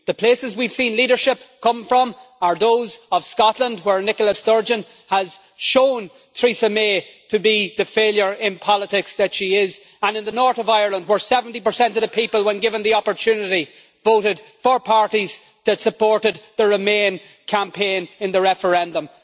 The places we have seen leadership come from are Scotland, where Nicola Sturgeon has shown Theresa May to be the failure in politics that she is, and the North of Ireland, where 70 of the people, when given the opportunity, voted for parties that supported the Remain campaign in the referendum.